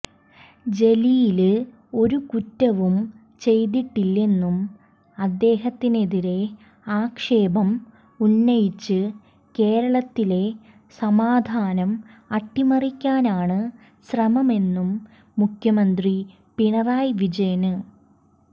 ജലീല് ഒരു കുറ്റവും ചെയ്തിട്ടില്ലെന്നും അദ്ദേഹത്തിനെതിരെ ആക്ഷേപം ഉന്നയിച്ച് കേരളത്തിലെ സമാധാനം അട്ടിമറിക്കാനാണ് ശ്രമമെന്നും മുഖ്യമന്ത്രി പിണറായി വിജയന്